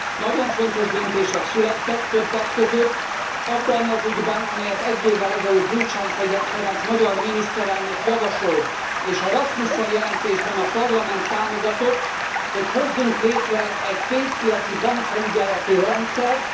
Nagyon fontos döntések születtek többek között abban az ügyben, amelyet egy évvel ezelőtt Gyurcsány Ferenc magyar miniszterelnök javasolt és a Rasmussen jelentésben a Parlament támogatott, hogy hozzunk létre egy pénzpiaci bankfelügyeleti rendszert.